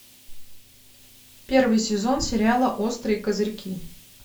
первый сезон сериала острые козырьки